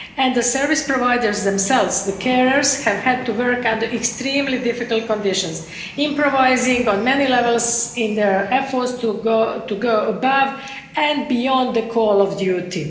The service providers themselves the carers have had to work under extremely difficult conditions, improvising on many levels in their efforts to go above and beyond the call of duty.